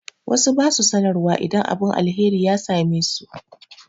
Wasu ba su sanarwa idan abin alheri ya same su.